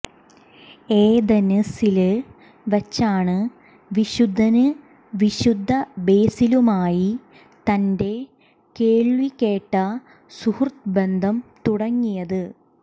ഏഥന്സില് വച്ചാണ് വിശുദ്ധന് വിശുദ്ധ ബേസിലുമായി തന്റെ കേള്വികേട്ട സുഹൃത്ബന്ധം തുടങ്ങിയത്